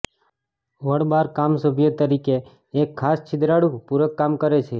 વળ બાર કામ સભ્ય તરીકે એક ખાસ છિદ્રાળુ પૂરક કામ કરે છે